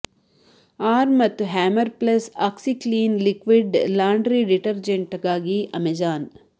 arm ಮತ್ತು hammer plus OxiClean liquid laundry ಡಿಟರ್ಜೆಂಟ್ಗಾಗಿ Amazon